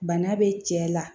Bana be cɛ la